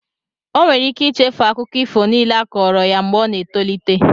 Ọ nwere ike ichefu akụkọ ifo niile a kọọrọ ya mgbe ọ na-etolite.